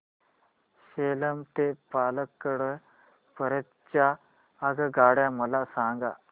सेलम ते पल्लकड पर्यंत च्या आगगाड्या मला सांगा